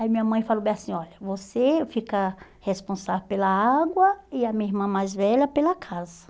Aí minha mãe falou bem assim, olha, você fica responsável pela água e a minha irmã mais velha pela casa.